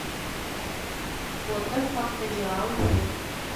фото факториал ек